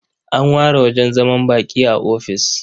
An ware wajen zaman baƙi a ofis.